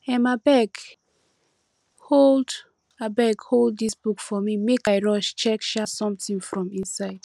um abeg hold abeg hold dis book for me make i rush check um something from inside